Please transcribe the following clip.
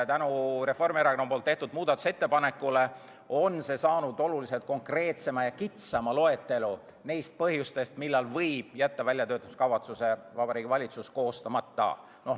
Tänu Reformierakonna tehtud muudatusettepanekule on koostatud oluliselt konkreetsem ja kitsam loetelu põhjustest, millal Vabariigi Valitsus võib jätta väljatöötamiskavatsuse koostamata.